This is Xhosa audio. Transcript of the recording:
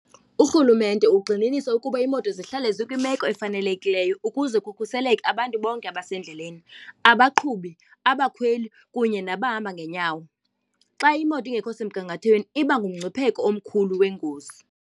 Urhulumente ugxininisa ukuba iimoto zihlale zikwimeko efanelekileyo ukuze kukhuseleke abantu bonke abasendleleni, abaqhubi, abakhweli kunye nabahamba ngeenyawo. Xa imoto ingekho semgangathweni iba ngumngcipheko omkhulu wengozi.